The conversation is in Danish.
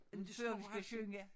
Før vi skal synge